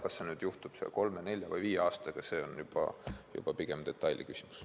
Kas see juhtub kolme, nelja või viie aastaga, on juba pigem detailiküsimus.